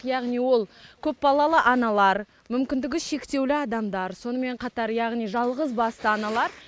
яғни ол көпбалалы аналар мүмкіндігі шектеулі адамдар сонымен қатар яғни жалғызбасты аналар